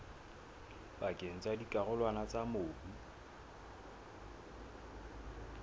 pakeng tsa dikarolwana tsa mobu